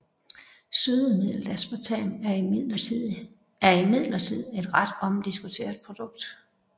Sødemidlet aspartam er imidlertid et ret omdiskuteret produkt